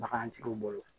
Bagantigiw bolo